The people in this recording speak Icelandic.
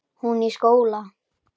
Hún í skóla.